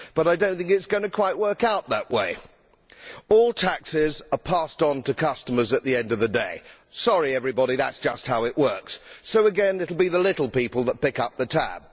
However, I do not think it is quite going to work out that way. All taxes are passed on to customers at the end of the day sorry everybody, but that is just how it works so again it will be the little people who pick up the tab.